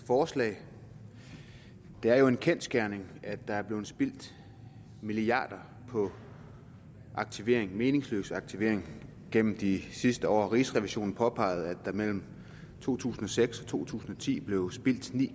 forslag det er jo en kendsgerning at der er blevet spildt milliarder på aktivering meningsløs aktivering gennem de sidste år rigsrevisionen påpegede at der mellem to tusind og seks og to tusind og ti blev spildt ni